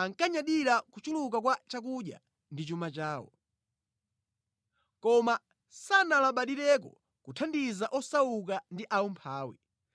ankanyadira kuchuluka kwa chakudya ndi chuma chawo. Koma sanalabadireko kuthandiza osauka ndi aumphawi.